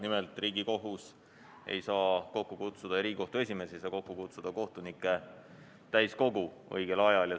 Nimelt, Riigikohtu esimees ei saa kohtunike täiskogu õigel ajal kokku kutsuda.